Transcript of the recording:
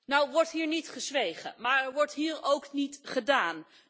Nou wordt hier niet gezwegen maar er wordt hier ook niet gedaan.